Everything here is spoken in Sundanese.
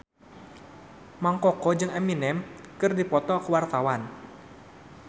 Mang Koko jeung Eminem keur dipoto ku wartawan